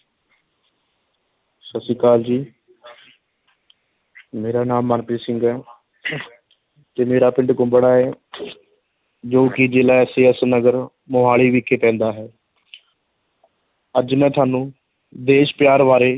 ਸਤਿ ਸ੍ਰੀ ਅਕਾਲ ਜੀ ਮੇਰਾ ਨਾਮ ਮਨਪ੍ਰੀਤ ਸਿੰਘ ਹੈ ਅਤੇ ਮੇਰਾ ਪਿੰਡ ਕੁੰਬੜਾ ਹੈ ਜੋ ਕਿ ਜਿਲ੍ਹਾ SAS ਨਗਰ ਮੁਹਾਲੀ ਵਿਖੇ ਪੈਂਦਾ ਹੈ ਅੱਜ ਮੈਂ ਤੁਹਾਨੂੰ ਦੇਸ਼ ਪਿਆਰ ਬਾਰੇ,